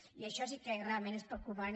i això sí que realment és preocupant